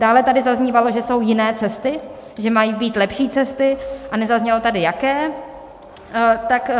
Dále tady zaznívalo, že jsou jiné cesty, že mají být lepší cesty, a nezaznělo tady jaké.